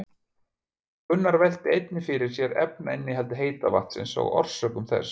Gunnar velti einnig fyrir sér efnainnihaldi heita vatnsins og orsökum þess.